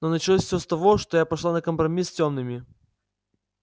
но началось всё с того что я пошла на компромисс с тёмными